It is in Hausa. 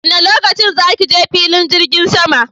Wanne lokaci za ki je filin jirgin sama